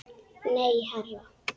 Nei, herra